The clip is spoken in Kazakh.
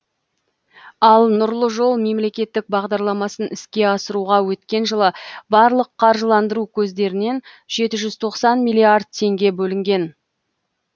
ал нұрлы жол мемлекеттік бағдарламасын іске асыруға өткен жылы барлық қаржыландыру көздерінен жеті жүз тоқсан миллиард теңге бөлінген